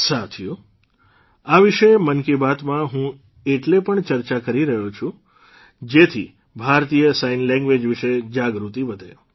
સાથીઓ આ વિશે મન કી બાતમાં હું એટલે પણ ચર્ચા કરી રહ્યો છું જેથી ભારતીય સાઇન લેંગ્વેઝ વિશે જાગૃતિ વધે